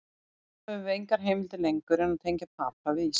Þá höfum við engar heimildir lengur sem tengja Papa við Ísland.